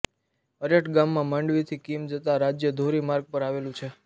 અરેઠ ગામ માંડવીથી કીમ જતા રાજ્ય ધોરી માર્ગ પર આવેલું છે